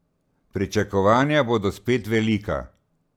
Pričakovanja bodo spet velika.